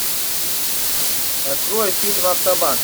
открой фильм автобан